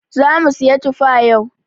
zamu siyi tufa yau.